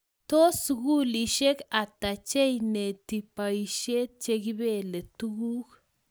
tos, sugulishek hata cheineti boishet chegibelee tuguk